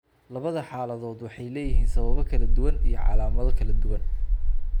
Labada xaaladood waxay leeyihiin sababo kala duwan iyo calaamado iyo calaamado kala duwan.